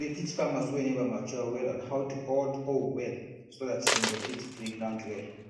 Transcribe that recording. we dey teach farmers wey never mature well on how to hold hoe well so dat dem go fit free ground well